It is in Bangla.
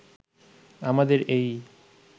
আমাদের এই